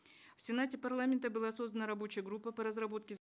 в сенате парламента была создана рабочая группа по разработке